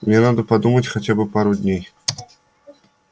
мне надо подумать хотя бы пару дней